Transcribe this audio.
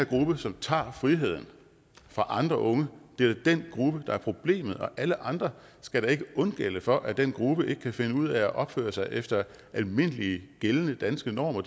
gruppe som tager friheden fra andre unge der er problemet og alle andre skal ikke undgælde for at den gruppe ikke kan finde ud af at opføre sig efter almindelige gældende danske normer